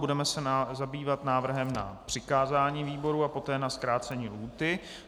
Budeme se zabývat návrhem na přikázání výboru a poté na zkrácení lhůty.